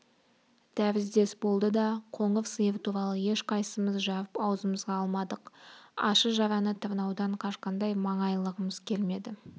тәріздес болды да қоңыр сиыр туралы ешқайсымыз жарып аузымызға алмадық ащы жараны тырнаудан қашқандай маңайлағымыз келмейді